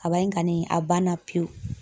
Kaba in kani a banna pewu.